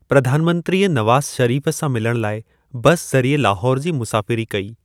प्रधान मंत्रीअ नवाज शरीफ सां मिलण लाइ बस ज़रिए लाहौर जी मुसाफिरी कई।